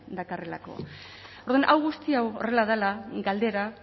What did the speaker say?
dakarrelako orduan hau guzti hau horrela dela galdera